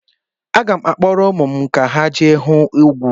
Aga m akpọrọ ụmụ m ka ha je hụ ugwu.